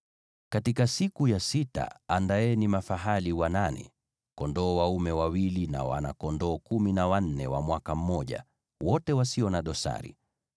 “ ‘Katika siku ya sita andaeni mafahali wachanga kumi na wawili, kondoo dume wawili, na wana-kondoo kumi na wanne wa mwaka mmoja, wote wasio na dosari.